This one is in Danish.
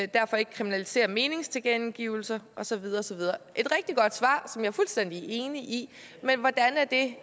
derfor ikke kriminalisere meningstilkendegivelser og så videre og så videre et rigtig godt svar som jeg er fuldstændig enig i men hvordan er det